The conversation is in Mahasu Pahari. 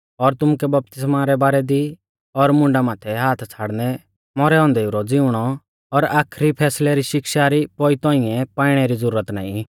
और तुमुकै बपतिस्मा रै बारै दी और मुंडा माथै हाथ छ़ाड़नै मौरै औन्देऊ रौ ज़िउंणौ और आखरी फैसलै री शिक्षा री पौई तौंइऐ पाइणै री ज़ुरत नाईं